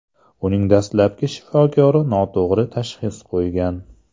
Uning dastlabki shifokori noto‘g‘ri tashxis qo‘ygan.